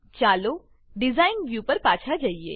ચાલો design design view પર પાછા જઈએ